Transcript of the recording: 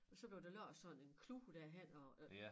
Og så når der lå sådan en klud derhenne og øh